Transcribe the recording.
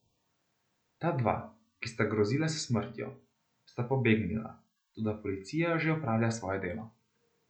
Ta dva, ki sta grozila s smrtjo, sta pobegnila, toda policija že opravlja svoje delo.